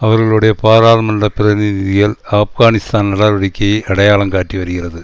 அவர்களுடைய பாராளுமன்ற பிரதிநிதிகள் ஆப்கானிஸ்தான் நடவடிக்கையை அடையாளம் காட்டி வருகிறது